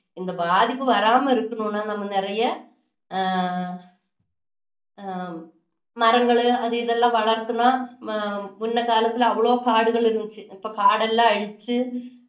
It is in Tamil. இந்த பாதிப்பு வராம இருக்கணும்னா நாம நிறைய ஆஹ் மரங்கள் அது இதெல்லாம் வளர்க்கணும் முன்ன காலத்துல அவ்வளவு காடுகள் இருந்துச்சு இப்போ காடெல்லாம் அழிச்சு